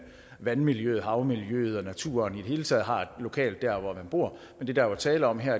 vandmiljøet havmiljøet og naturen i det hele taget har det lokalt der hvor man bor men det der er tale om her